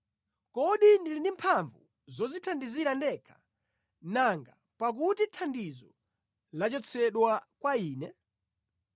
Kodi ndili ndi mphamvu zodzithandizira ndekha, nanga pakuti thandizo lachotsedwa kwa ine?